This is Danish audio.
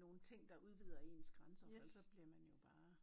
nogen ting der udvider ens grænser for ellers bliver man jo bare